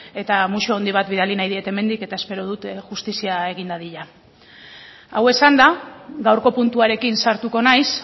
musu handi bat bidali nahi diet hemendik eta espero dut justizia egin dadila hau esanda gaurko puntuarekin sartuko naiz